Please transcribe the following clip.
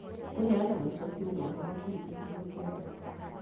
Kũheana macokio na ũhoro kũrĩ Kĩbungo kĩa data